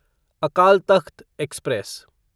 Akal Takht express